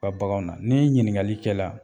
Ka baganw na ni ɲininkali kɛ la